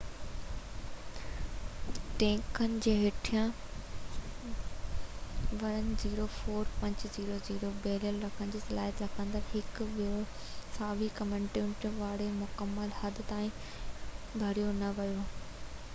ٽينڪن جي هيٺان 104،500 بيرل رکڻ جي صلاحيت رکندڙ هڪ ٻيو ثانوي ڪنٽينمينٽ وارو مڪمل حد تائين ڀريو نه ويو